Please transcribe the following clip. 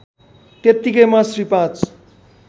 त्यत्तिकैमा Shri ५